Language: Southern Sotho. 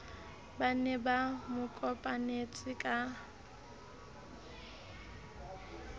ba ne ba mokopanetse ka